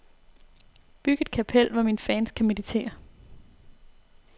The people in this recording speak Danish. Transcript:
Byg et kapel, hvor mine fans kan meditere.